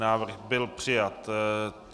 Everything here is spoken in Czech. Návrh byl přijat.